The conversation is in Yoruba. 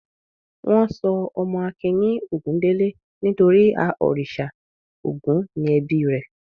Wọ́n sọ ọmọ Akin ní Ògúndélé nítorí a òrìṣà Ògún ni ẹbí rẹ̀.